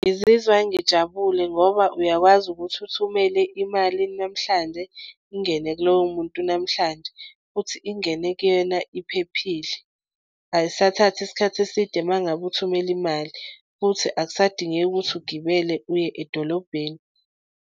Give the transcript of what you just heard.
Ngizizwa ngijabule ngoba uyakwazi ukuthi uthumele imali namhlanje, ingene kulowo muntu namhlanje futhi ingene kuyena iphephile. Ayisathathi isikhathi eside uma ngabe uthumele imali futhi akusadingeki ukuthi ugibele uye edolobheni.